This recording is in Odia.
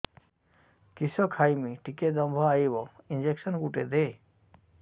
କିସ ଖାଇମି ଟିକେ ଦମ୍ଭ ଆଇବ ଇଞ୍ଜେକସନ ଗୁଟେ ଦେ